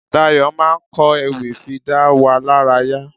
Dayọ̀ máa ń ko ewì fi dá wa lárayá.